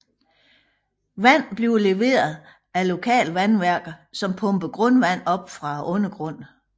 Vand bliver leveret af lokale vandværker som pumper grundvand op fra undergrunden